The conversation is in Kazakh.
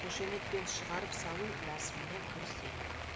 қошеметпен шығарып салу рәсіміне кірісейік